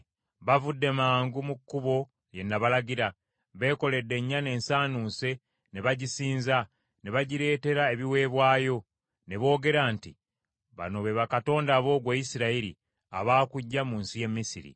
bavudde mangu mu kkubo lye nabalagira; beekoledde ennyana ensaanuuse ne bagisinza, ne bagireetera ebiweebwayo, ne boogera nti, ‘Bano be bakatonda bo, ggwe Isirayiri, abaakuggya mu nsi y’e Misiri!’ ”